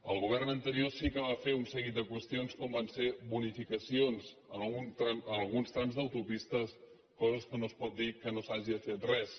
el govern anterior sí que va fer un seguit de qüestions com van ser bonificacions en alguns trams d’autopistes la cosa és que no es pot dir que no s’hagi fet res